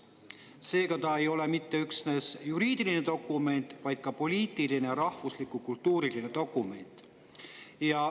Seega ei ole see üksnes juriidiline dokument, vaid ka poliitiline ja rahvuslik-kultuuriline dokument.